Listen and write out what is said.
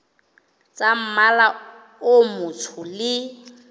tsa mmala o motsho le